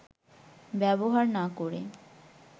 ব্যবহার না করে